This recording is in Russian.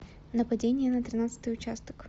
нападение на тринадцатый участок